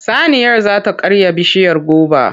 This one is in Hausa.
Saniyar za ta karya bishiyar goba.